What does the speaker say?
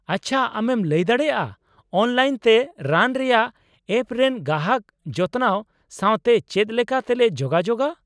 ᱟᱪᱪᱷᱟ ᱟᱢᱮᱢ ᱞᱟᱹᱭ ᱫᱟᱲᱮᱭᱟᱜᱼᱟ ᱚᱱᱞᱟᱤᱱ ᱛᱮ ᱨᱟᱱ ᱨᱮᱭᱟᱜ ᱮᱯ ᱨᱮᱱ ᱜᱟᱦᱟᱠ ᱡᱚᱛᱱᱟᱣ ᱥᱟᱶᱛᱮ ᱪᱮᱫ ᱞᱮᱠᱟ ᱛᱮᱞᱮ ᱡᱳᱜᱟᱡᱳᱜᱟ ?